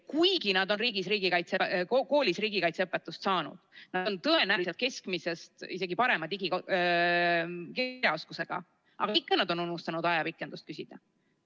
Kuigi nad on koolis riigikaitseõpetust saanud ja nad on tõenäoliselt isegi keskmisest parema digikirjaoskusega, aga ikka nad on unustanud ajapikendust küsida.